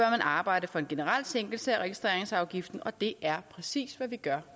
arbejde for en generel sænkelse af registreringsafgiften og det er præcis hvad vi gør